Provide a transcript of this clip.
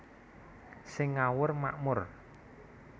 Sing ngawur makmur